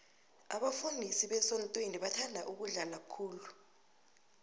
abafundisi besontweni bathanda ukudla khulu